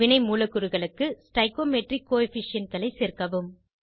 வினை மூலக்கூறுகளுக்கு வேதிவிகித குணகங்கள் ஸ்டாய்ச்சியோமெட்ரிக் coefficientகளை சேர்க்கவும்